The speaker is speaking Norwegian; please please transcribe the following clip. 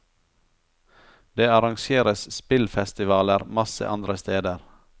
Det arrangeres spillfestivaler masse andre steder.